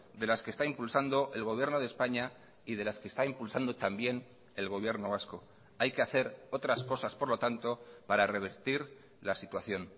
de las que está impulsando el gobierno de españa y de las que está impulsando también el gobierno vasco hay que hacer otras cosas por lo tanto para revertir la situación